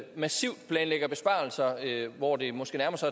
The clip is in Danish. massivt planlægger besparelser hvor det måske nærmer sig